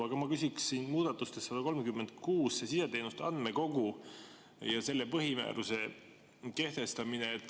Aga ma küsiksin muudatuse 136 kohta, see on sideteenuste andmekogu ja selle põhimääruse kehtestamine.